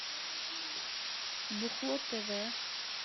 бухло тв